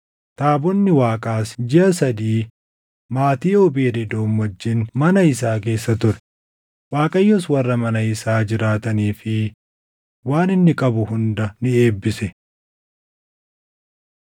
Taabonni Waaqaas jiʼa sadii maatii Oobeed Edoom wajjin mana isaa keessa ture; Waaqayyos warra mana isaa jiraatanii fi waan inni qabu hunda ni eebbise.